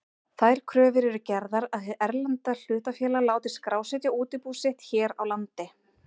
Þær kröfur eru gerðar að hið erlenda hlutafélag láti skrásetja útibú sitt hér á landi.